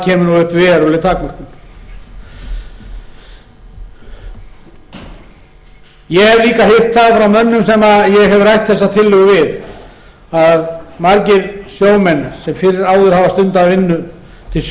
kemur upp veruleg takmörkun ég hef líka heyrt það frá mönnum sem ég hef rætt þessa tillögu við að margir sjómenn sem fyrr áður hafa stundað vinnu til